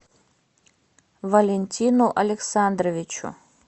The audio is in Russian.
валентину александровичу